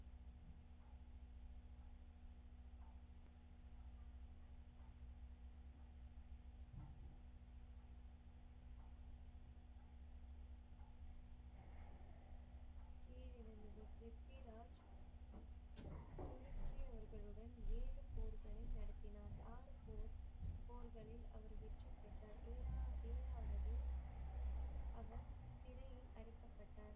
ப்ரித்விராஜ் துருக்கி அவர்களுடன் ஏழு போர்க்களம் நடத்தினார். ஆறு போர்களில் அவர் வெற்றி பெற்றார் ஏழா~ஏழாவது அவர் சிறையில் அடைக்கப்பட்டார்.